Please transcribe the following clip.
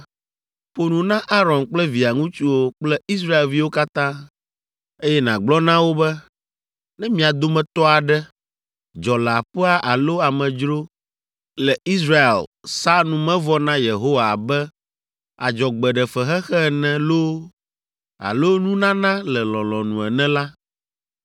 “Ƒo nu na Aron kple via ŋutsuwo kple Israelviwo katã, eye nàgblɔ na wo be, ‘Ne mia dometɔ aɖe, dzɔleaƒea alo amedzro si le Isreal sa numevɔ na Yehowa abe adzɔgbeɖefexexe ene loo alo nunana le lɔlɔ̃nu ene la,